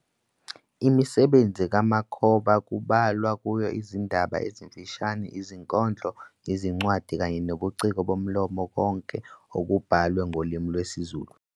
Imisebenzi kaMakhoba kubalwa kuyo izindaba ezimfishane, izinkondlo, izincwadi, kanye nobuciko bomlomo konke okubhalwe ngolimi lwesiZulu.